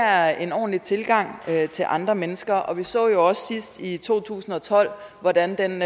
er en ordentlig tilgang til andre mennesker og vi så jo også sidst i to tusind og tolv hvordan den